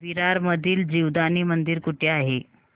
विरार मधील जीवदानी मंदिर कुठे आहे